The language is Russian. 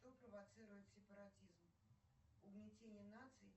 кто провоцирует сепаратизм угнетение наций